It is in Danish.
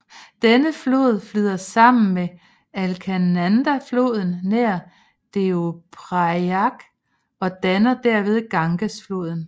Denne flod flyder sammen med Alaknandafloden nær Deoprayag og danner derved Gangesfloden